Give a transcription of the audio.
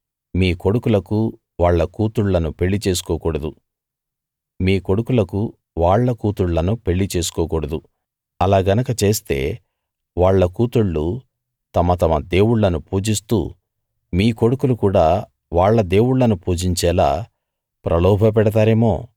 మీ కొడుకులకు వాళ్ళ కూతుళ్ళను పెళ్లి చేసుకోకూడదు అలా గనక చేస్తే వాళ్ళ కూతుళ్ళు తమ తమ దేవుళ్ళను పూజిస్తూ మీ కొడుకులు కూడా వాళ్ళ దేవుళ్ళను పూజించేలా ప్రలోభ పెడతారేమో